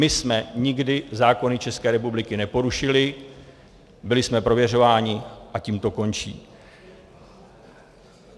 My jsme nikdy zákony České republiky neporušili, byli jsme prověřováni a tím to končí.